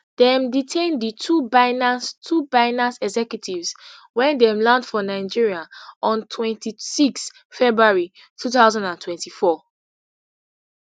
dem detain di two binance two binance executives wen dem land for nigeria on twenty-six february two thousand and twenty-four